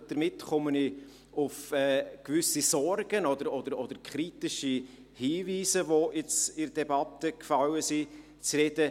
– Damit komme ich auf gewisse Sorgen oder kritische Hinweise, welche in der Debatte gefallen sind, zu sprechen.